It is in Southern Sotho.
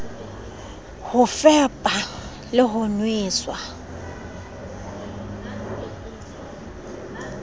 ho fepa le ho nwesa